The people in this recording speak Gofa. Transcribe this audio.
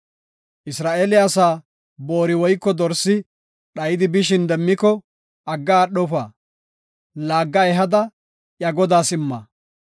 Isra7eele asa boori woyko dorsi dhayidi bishin demmiko agga aadhofa; laagga ehada iya godaas imma.